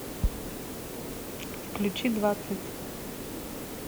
включи двадцать